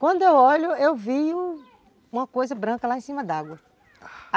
Quando eu olho, eu vi uma coisa branca lá em cima d'água, a...